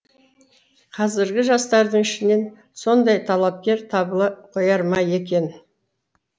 қазіргі жастарың ішінен ондай талапкер табыла қояр ма екен